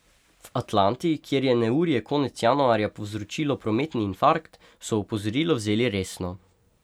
V Atlanti, kjer je neurje konec januarja povzročilo prometni infarkt, so opozorilo vzeli resno.